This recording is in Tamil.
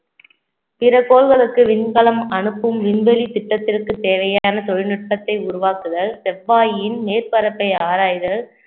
பிற கோள்களுக்கு விண்கலம் அனுப்பும் விண்வெளி திட்டத்திற்கு தேவையான தொழில்நுட்பத்தை உருவாக்குதல் செவ்வாயின் மேற்பரப்பை ஆராய்தல்